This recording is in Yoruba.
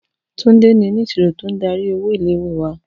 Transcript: Tunde ni oniṣiro to n dari owo ile-iwe wa.